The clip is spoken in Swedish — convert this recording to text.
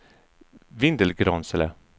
Vindelgransele